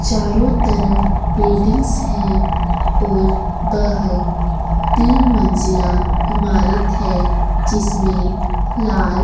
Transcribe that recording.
चारों तरफ बिल्डिंग्स है और वह तीन मंजिला इमारत है। जिसमे लाल --